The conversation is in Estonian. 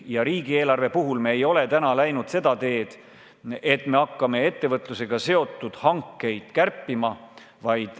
Ja riigieelarve puhul me ei ole läinud seda teed, et hakkame ettevõtlusega seotud hankeid kärpima.